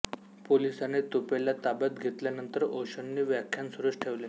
पोलिसांनी तुपेला ताब्यात घेतल्यानंतर ओशोंनी व्याख्यान सुरूच ठेवले